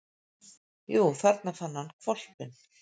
Jú, þarna fann hann hvolpinn.